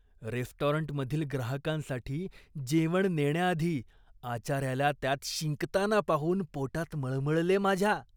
रेस्टॉरंटमधील ग्राहकांसाठी जेवण नेण्याआधी आचाऱ्याला त्यात शिंकताना पाहून पोटात मळमळले माझ्या.